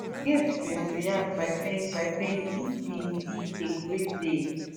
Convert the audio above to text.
gaetz bin react by saying by saying e bin be a great day